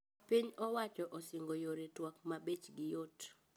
Piny owacho osingo yore twak mabechgi yot